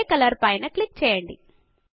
grey colour పైన click చేయండి